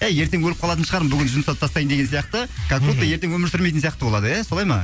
әй ертең өліп қалатын шығармын бүгін жұмсап тастайын деген сияқты как будто ертең өмір сүрмейтін сияқты болады иә солай ма